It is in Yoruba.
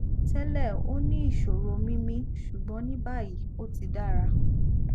tẹlẹ ó ní ìṣòro mímí ṣùgbọn ní báyìí ó ti dára